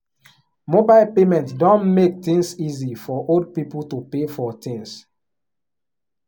mobile payment don make things easy for old people to pay for things.